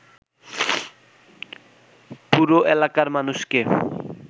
পুরো এলাকার মানুষকে